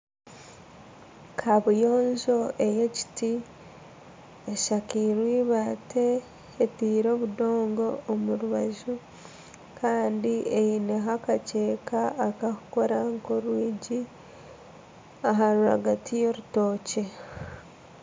kabuyonjo ey'ekiti eshakirwe eibaati, etairwe obudoongo omu rubaju kandi eineho akakyeeka akakukora nka orwingi aha rwagati y'orutookye.